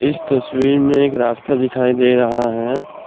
इस तस्वीर में एक रास्ता दिखाई दे रहा है।